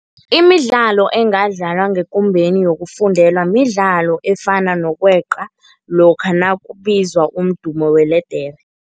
Imidlalo engadlaliwa ngekumbeni yokufundela midlalo efana nokweqa lokha nakubizwa umdumo weledere.